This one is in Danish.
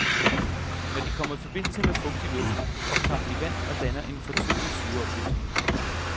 Når de kommer i forbindelse med fugtig luft, optager de vand og danner en fortyndet syreopløsning.